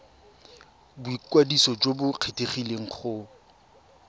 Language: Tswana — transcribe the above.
boikwadiso jo bo kgethegileng go